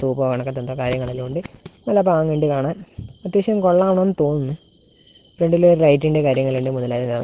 രൂപം കണക്കത്തെ എന്തോ കാര്യങ്ങളെല്ലാം ഉണ്ട് നല്ല പാങ്ങ് ഉണ്ട് കാണാൻ അത്യാവശ്യം കൊള്ളാം എന്ന് തോന്നുന്ന് ഫ്രണ്ടില് ലൈറ്റിന്റെ കാര്യങ്ങള് ഇണ്ട് മുതലായവ--